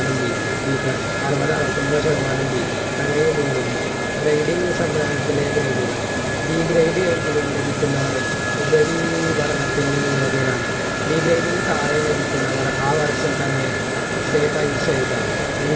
അറുപത്തറുപത്തൊമ്പത് ശതമാനം B അങ്ങനെ നീങ്ങുന്നു grading സംവൃതയത്തിലെ grade കൾ Degrade എങ്കിലും ലഭിക്കുന്നവർ ഉപരിപഠനത്തിന് യോഗ്യരാണ് Degrade ന് തായേ ലഭിക്കുന്നവർ ആ വർഷം തന്നെ say പരീഷ എയുതാം